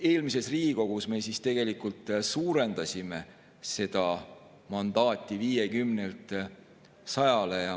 Eelmises Riigikogu me suurendasime seda mandaati 50‑lt 100‑le.